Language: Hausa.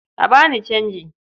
A ba ni canji.